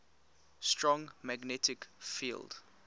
strong magnetic field